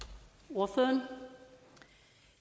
ordføreren